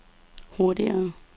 hurtigere